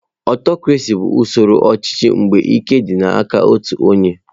Aụtọcrasị bụ usoro ọchịchị ebe ike dị n'aka otu onye.